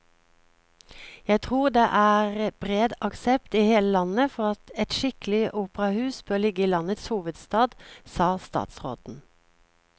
Jeg tror det er bred aksept i hele landet for at et skikkelig operahus bør ligge i landets hovedstad, sa statsråden.